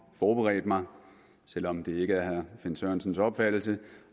forberedt mig selv om det ikke er herre finn sørensens opfattelse